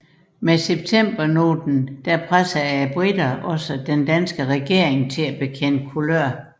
Med septembernoten pressede briterne den danske regering til at bekende kulør